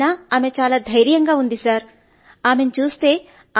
అయినప్పటికీ ఆమె ఇంత ధైర్యం గాను ఇంత బలం గాను ఉన్నారు సర్